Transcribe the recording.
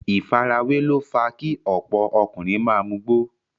ìfarawé ló fa kí ọ̀pọ̀ ọkùnrin ma mugbó.